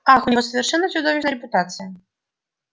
ах у него совершенно чудовищная репутация